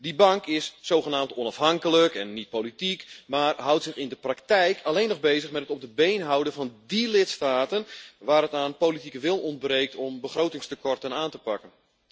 Die bank is zogenaamd onafhankelijk en niet politiek, maar houdt zich in de praktijk alleen nog bezig met het op de been houden van die lidstaten waar het aan politieke wil ontbreekt om begrotingstekorten aan te pakken.